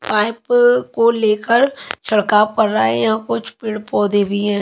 Pipe को लेकर छड़काव कर रहा है यहाँ कुछ पेड़ पौधे भी हैं।